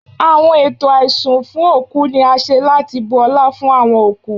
Awọn eto aisun fun oku ni a ṣe lati bu ọla fun awọn okú